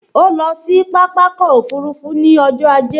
O lọ sí Pápákọ̀ òfurufú ní ọjọ́ ajé